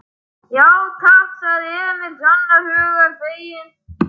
Já, takk, sagði Emil alls hugar feginn.